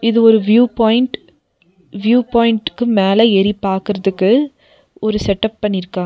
இது ஒரு view point view பாயிண்ட்க்கு மேல ஏறி பாக்கறதுக்கு ஒரு செட்டப் பண்ணிருக்காங்க.